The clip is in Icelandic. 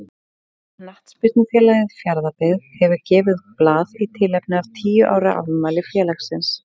Knattspyrnufélagið Fjarðabyggð hefur gefið út blað í tilefni af tíu ára afmæli félagsins.